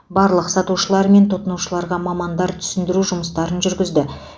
барлық сатушылар мен тұтынушыларға мамандар түсіндіру жұмыстарын жүргізді